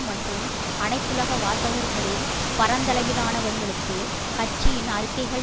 மற்றும் அனைத்துலக வாசகர்களில் பரந்தளவிலானவர்களுக்கு கட்சியின் அறிக்கைகள்